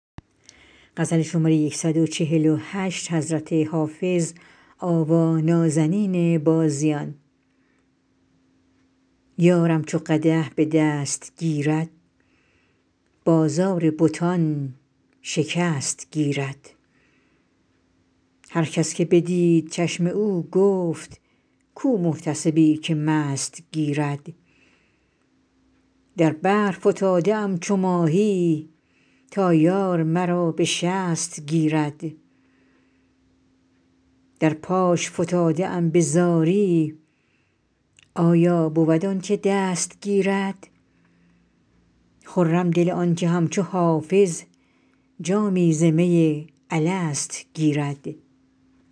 یارم چو قدح به دست گیرد بازار بتان شکست گیرد هر کس که بدید چشم او گفت کو محتسبی که مست گیرد در بحر فتاده ام چو ماهی تا یار مرا به شست گیرد در پاش فتاده ام به زاری آیا بود آن که دست گیرد خرم دل آن که همچو حافظ جامی ز می الست گیرد